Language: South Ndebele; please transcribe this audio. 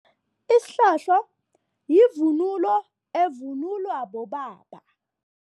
Isihlohlo yivunulo evunulwa bobaba.